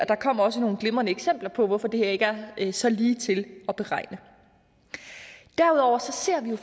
der kom også nogle glimrende eksempler på hvorfor det her ikke er så ligetil at beregne derudover ser vi jo